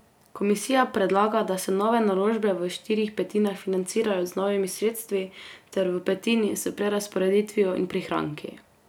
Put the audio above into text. Komisija predlaga, da se nove naložbe v štirih petinah financirajo z novimi sredstvi ter v petini s prerazporeditvijo in prihranki.